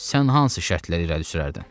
Sən hansı şərtləri irəli sürərdin?